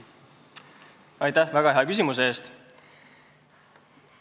Aitäh väga hea küsimuse eest!